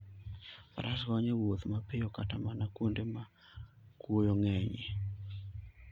Faras konyo e wuoth mapiyo, kata mana kuonde ma kuoyo ng'enyie.